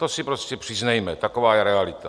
To si prostě přiznejme, taková je realita.